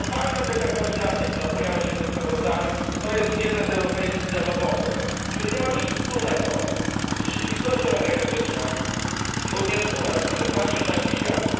Totalna dekarbonizacja, która pojawia się w sprawozdaniu, jest jednym z europejskich zabobonów, który nie ma nic wspólnego z rzeczywistością energetyczną również u nas, w naszej części świata.